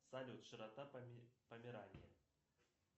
салют широта померании